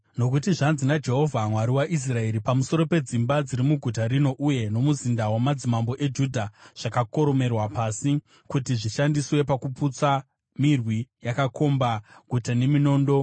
Nokuti zvanzi naJehovha, Mwari waIsraeri, pamusoro pedzimba dziri muguta rino uye nomuzinda wamadzimambo eJudha zvakakoromorerwa pasi kuti zvishandiswe pakuputsa mirwi yakakomba guta neminondo,